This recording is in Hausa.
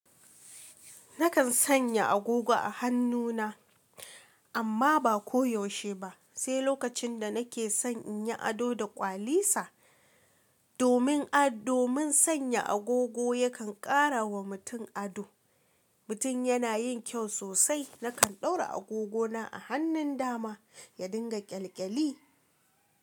Nakan sanya agogo a hannu na, amma ba koyaushe ba. Sai lokacin da nake son in yi ado da kwali sa. Domin ad, domin sanya agogo yakan ƙara wa mutum ado. Mutum yana yin kyau sosai. Nakan ɗaura agogo na a hannun dama ya dinga ƙyalƙyali.